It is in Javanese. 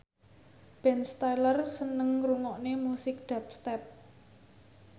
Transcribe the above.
Ben Stiller seneng ngrungokne musik dubstep